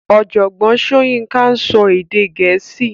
Ọ̀jọ̀gbọ́n Soyinka ń sọ èdè Gẹ̀ẹ́sì